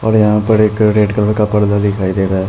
और यहाँ पर एक अ रेड कलर का पर्दा दिखाई दे रहा है।